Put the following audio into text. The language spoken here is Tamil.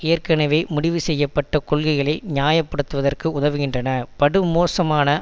ஏற்கனவே முடிவு செய்ய பட்ட கொள்கைளை நியாய படுத்துவதற்கு உதவுகின்றனபடுமோசமான